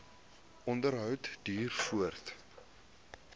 onderhou duur voort